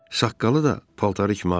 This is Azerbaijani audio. Saqqalı da paltarı kimi ağ idi.